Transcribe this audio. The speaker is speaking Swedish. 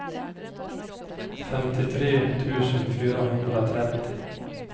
femtiotre tusen fyrahundratrettio